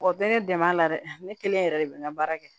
O tɛ ne dɛmɛ a la dɛ ne kelen yɛrɛ de bɛ n ka baara kɛ